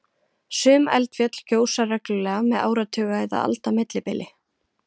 Sum eldfjöll gjósa reglulega með áratuga eða alda millibili.